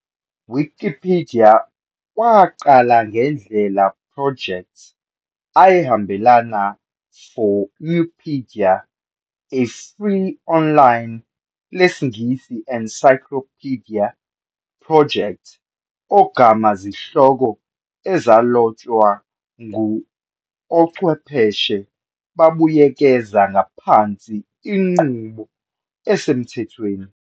Wikipedia waqala njengendlela project ayahambelana for Nupedia, a free online lesiNgisi encyclopedia project ogama zihloko ezalotshwa ngu ochwepheshe babuyekeza ngaphansi inqubo esemthethweni.